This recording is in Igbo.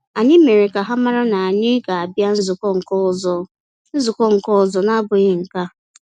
Anyị mere ka ha mara na anyị ga abia nzukọ nke ọzọ nzukọ nke ọzọ na-abụghị nke a